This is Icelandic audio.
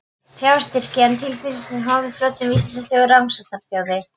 Fjárstyrki til verksins hef ég hlotið úr Vísindasjóði og Rannsóknarsjóði